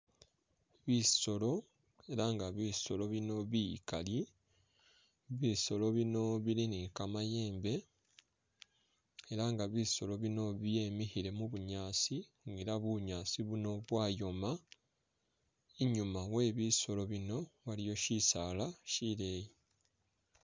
Bisoolo ela nga bisoolo bino bikali, bisoolo bino bili ni kamayembe ela nga bisoolo bino byemikhile mubunyaasi nga ela bunyaasi buno bwayooma, i'nyuma webisoolo bino waliyo shisaala shileyi